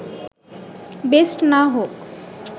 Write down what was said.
best না হোক